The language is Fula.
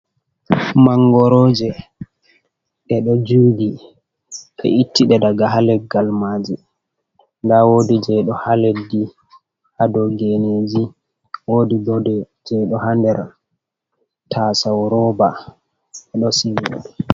Mangoroje, ɗe ɗo jugi. Ɓe ittiɗe daga haleggal maaji. Nda woodi je ɗo ha leddi, ha dou geneji. Woodi goɗɗe jei ɗo ha nder tasau roba, be ɗon sigi ɗe.